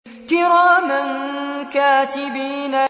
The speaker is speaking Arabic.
كِرَامًا كَاتِبِينَ